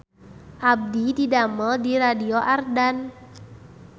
Abdi didamel di Radio Ardan